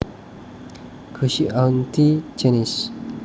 Go see auntie Janice